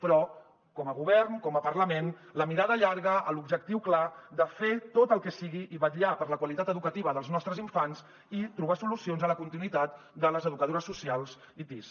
però com a govern com a parlament la mirada llarga amb l’objectiu clar de fer tot el que sigui i vetllar per la qualitat educativa dels nostres infants i trobar solucions a la continuïtat de les educadores socials i tis